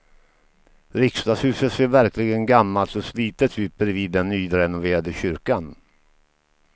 Riksdagshuset ser verkligen gammalt och slitet ut bredvid den nyrenoverade kyrkan.